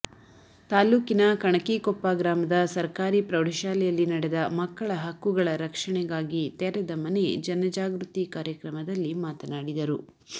ತಾಲೂಕಿನ ಕಣಕಿಕೊಪ್ಪ ಗ್ರಾಮದ ಸರಕಾರಿ ಪ್ರೌಢ ಶಾಲೆಯಲ್ಲಿನಡೆದ ಮಕ್ಕಳ ಹಕ್ಕುಗಳ ರಕ್ಷಣೆಗಾಗಿ ತೆರೆದ ಮನೆ ಜನ ಜಾಗೃತಿ ಕಾರ್ಯಕ್ರಮದಲ್ಲಿಮಾತನಾಡಿದರು